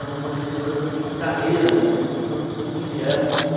Eram professoras de carreira né, e professoras que vieram com uma...